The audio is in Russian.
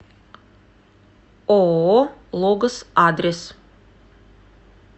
ооо логос адрес